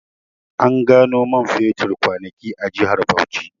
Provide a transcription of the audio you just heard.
An gano man fetur kwanaki a jihar Bauchi